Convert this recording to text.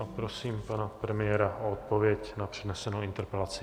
A prosím pana premiéra o odpověď na přednesenou interpelaci.